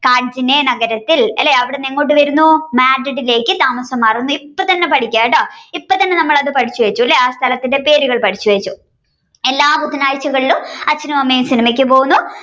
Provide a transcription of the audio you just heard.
കാഡ്ജിനെ നഗരത്തിൽ അല്ലേ അവിടെന്ന് എങ്ങോട്ട് വരുന്നു മാഡ്രിഡിലേക്ക് താമസം മാറുന്നു ഇപ്പത്തന്നെ പഠിക്കാട്ടോ ഇപ്പത്തന്നെ നമ്മൾ പടിച്ചുവെച്ചു അല്ലേ ആ സ്ഥലത്തിന്റെ പേരുകൾ പഠിച്ചു വെച്ചു എല്ലാ ബുധനാഴ്ചകളും അച്ഛനും അമ്മയും സിനിമയ്ക്ക് പോകുന്നു